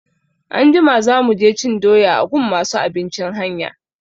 Anjima za mu je cin doya a gun masu abincin hanya.